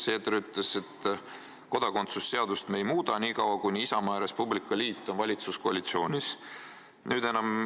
Seeder ütles, et kodakondsuse seadust ei muudeta nii kaua, kuni Isamaa ja Res Publica Liit on valitsuskoalitsioonis.